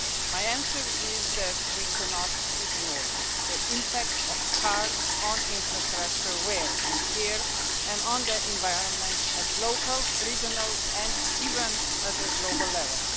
My answer is that we cannot ignore the impact of cars on infrastructure wear and tear and on the environment at local, regional and even at the global level.